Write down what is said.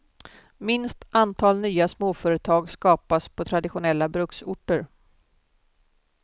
Minst antal nya småföretag skapas på traditionella bruksorter.